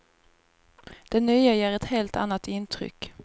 Den nya ger ett helt annat intryck.